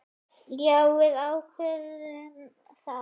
Já, við ákváðum það.